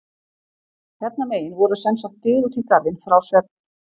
Hérna megin voru sem sagt dyr út í garðinn frá svefn